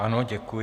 Ano, děkuji.